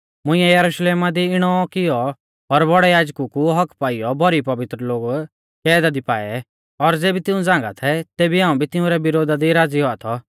मुंइऐ यरुशलेमा दी इणौ औ कियौ और बौड़ै याजकु कु हक्क्क पाइयौ भौरी पवित्र लोग कैदा दी पाऐ और ज़ेबी तिऊं झ़ांगा थै तेबी हाऊं भी तिंउरै विरोधा दी राज़ी औआ थौ